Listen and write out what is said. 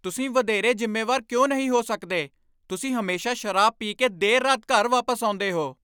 ਤੁਸੀਂ ਵਧੇਰੇ ਜ਼ਿੰਮੇਵਾਰ ਕਿਉਂ ਨਹੀਂ ਹੋ ਸਕਦੇ? ਤੁਸੀਂ ਹਮੇਸ਼ਾ ਸ਼ਰਾਬ ਪੀ ਕੇ ਦੇਰ ਰਾਤ ਘਰ ਵਾਪਸ ਆਉਂਦੇ ਹੋ।